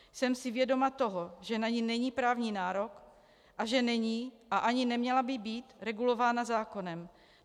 Jsem si vědoma toho, že na ni není právní nárok a že není a ani neměla by být regulována zákonem.